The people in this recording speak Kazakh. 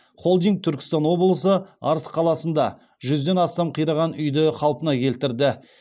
холдинг түркістан облысы арыс қаласында жүзден астам қираған үйді қалпына келтірді